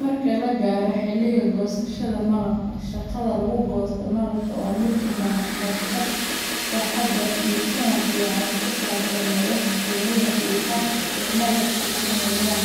Marka la gaaro xilligii goosashada malabka, shaqada lagu goosto malabka waa mid u baahan xirfad, taxaddar, iyo faham fiican oo ku saabsan nolosha shinnida iyo habka ay malabka u sameeyaan.